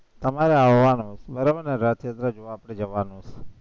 તમારે આવવાનું બરાબર ને જવાનું